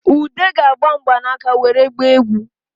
Ude ga-agba mgbanaka nwere gbaa egwu